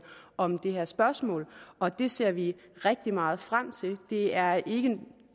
om det her spørgsmål og det ser vi rigtig meget frem til det er